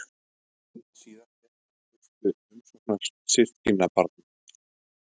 Öld síðar fékk hann fyrstu umsóknir systkinabarna.